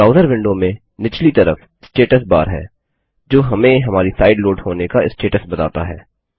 browser window में निचली तरफ स्टेटस बार है जो हमें हमारी साइट लोड होने का स्टेटस बताता है